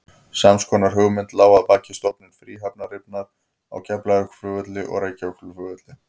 Sams konar hugmynd lá að baki stofnun fríhafnarinnar á Keflavíkurflugvelli og Reykjavíkurflugvelli.